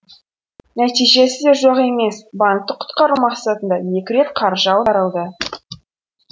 нәтижесі де жоқ емес банкті құтқару мақсатында екі рет қаржы аударылды